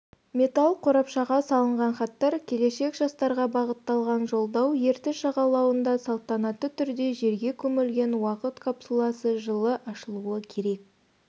металл қорапшаға салынған хаттар келешек жастарға бағытталған жолдау ертіс жағалауында салтанатты түрде жерге көмілген уақыт капсуласы жылы ашылуы керек